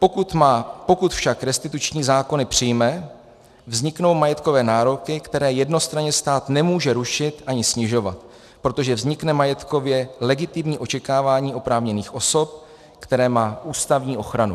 Pokud však restituční zákony přijme, vzniknou majetkové nároky, které jednostranně stát nemůže rušit ani snižovat, protože vznikne majetkově legitimní očekávání oprávněných osob, které má ústavní ochranu.